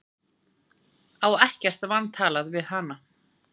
Á ekkert vantalað við hana.